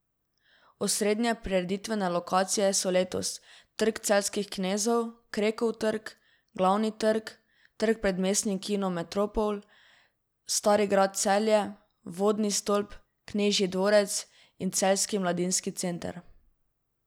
Osrednje prireditvene lokacije so letos Trg celjskih knezov, Krekov trg, Glavni trg, trg pred Mestnim kinom Metropol, Stari grad Celje, Vodni stolp, Knežji dvorec in Celjski mladinski center.